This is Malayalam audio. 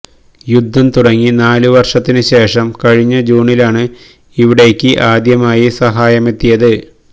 യുദ്ധം തുടങ്ങി നാലു വര്ഷത്തിനു ശേഷം കഴിഞ്ഞ ജൂണിലാണ് ഇവിടേയ്ക്ക് ആദ്യമായി സഹായമെത്തിയത്